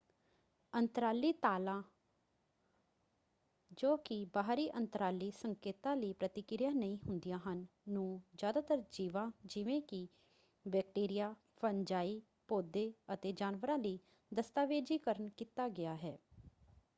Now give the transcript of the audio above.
ਅੰਤਰਾਲੀ ਤਾਲਾਂ ਜੋ ਕਿ ਬਾਹਰੀ ਅੰਤਰਾਲੀ ਸੰਕੇਤਾਂ ਲਈ ਪ੍ਰਤੀਕਿਰਿਆ ਨਹੀਂ ਹੁੰਦੀਆਂ ਹਨ ਨੂੰ ਜ਼ਿਆਦਾਤਰ ਜੀਵਾਂ ਜਿਵੇਂ ਕਿ ਬੈਕਟਰੀਆ ਫੰਜਾਈ ਪੌਦੇ ਅਤੇ ਜਾਨਵਰਾਂ ਲਈ ਦਸਤਾਵੇਜ਼ੀਕਰਨ ਕੀਤਾ ਗਿਆ ਹੈ।